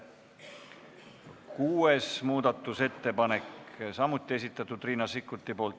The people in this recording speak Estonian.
Kuues muudatusettepanek, samuti Riina Sikkuti esitatud.